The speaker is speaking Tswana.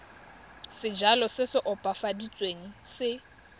sejalo se se opafaditsweng se